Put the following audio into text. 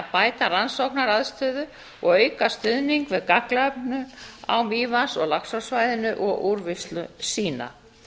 bæta rannsóknaaðstöðu og auka stuðning við gagnaöflun á mývatns og laxársvæðinu og úrvinnslu sýna